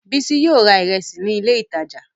Bísí yóò ra ìrẹsì ní ilé-ìtajà.